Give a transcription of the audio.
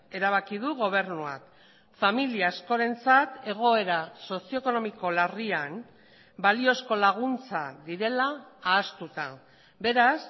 erabaki du gobernuak familia askorentzat egoera sozio ekonomiko larrian baliozko laguntza direla ahaztuta beraz